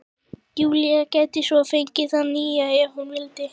Júlía gæti svo fengið það nýja- ef hún vildi.